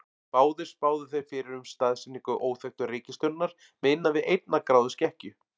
Báðir spáðu þeir fyrir um staðsetningu óþekktu reikistjörnunnar með innan við einnar gráðu skekkju.